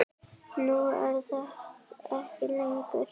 Nú er það ekki lengur.